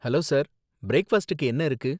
Hello sir, பிரேக்ஃபாஸ்டுக்கு என்ன இருக்கு?